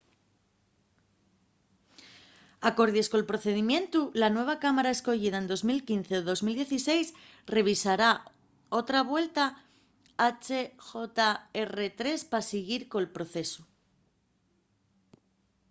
acordies col procedimientu la nueva cámara escoyida en 2015 ó 2016 revisará otra vuelta hjr-3 pa siguir col procesu